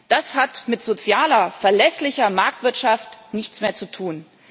Das hat mit sozialer, verlässlicher Marktwirtschaft nichts mehr zu tun.